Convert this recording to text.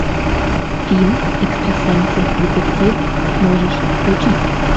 фильм экстрасенсы детективы можешь включить